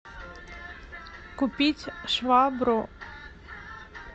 купить швабру